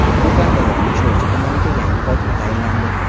Surxondaryoning Sho‘rchi tumaniga yangi hokim tayinlandi.